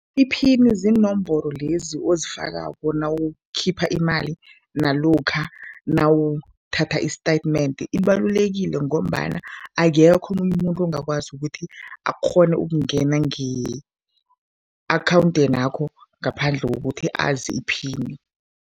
Iphini ziinomboro lezi ozifakako nawukhipha imali nalokha nawuthatha i-statement. Ibalulekile ngombana akekho omunye umuntu ongakwazi ukuthi akghone ukungena nge-akhawundenakho ngaphandle kokuthi azi iphini.